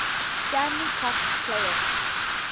stanley cup playoffs